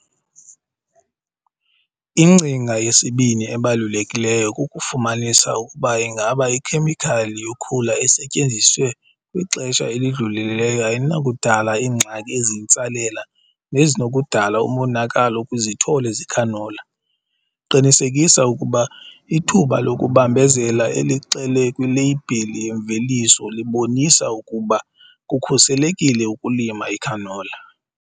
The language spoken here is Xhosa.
Ingcinga yesibini ebalulekileyo kukufumanisa ukuba ingaba ikhemikhali yokhula esetyenziswe kwixesha elidlulileyo ayinakudala iingxaki eziyintsalela nezinokudala umonakalo kwizithole zecanola. Qinisekisa ukuba ithuba lokubambezela elixelwe kwileyibhile yemveliso libonisa ukuba kukhuselekile ukulima icanola.